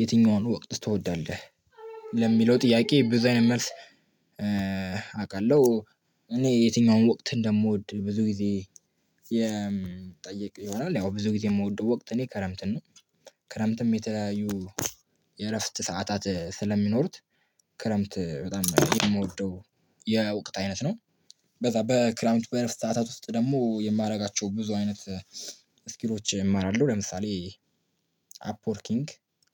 የትኛውን ወቅት ትወዳለህ? ለሚለው ጥያቄ ብዙ አይነት መልስ። አውቃለሁ እኔ የትኛውን ወቅት እንደምወድ ብዙ ጊዜ የምጠይቅ ይሆናል። ያው ብዙ ጊዜ የምወደው ወቅት እኔ ክረምትን ነው። ክረምትም የተለያዩ የእረፍት ሰዓታት ስለሚኖሩት። ክረምት በጣም የምወደው የወቅት አይነት ነው። በዛ በክረምት በረፍት ሰዓታት ውስጥ ደግሞ የማደርጋቸው ብዙ አይነት ስኪሎች እማራለሁ። ለምሳሌ አፕወርኪንግ